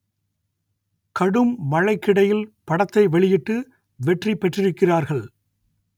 கடும் மழைக்கிடையில் படத்தை வெளியிட்டு வெற்றி பெற்றிருக்கிறார்கள்